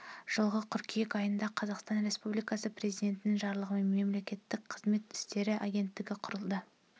жылғы қыркүйек айында қазақстан республикасы президентінің жарлығымен мемлекеттік қызмет істері агенттігі құрылды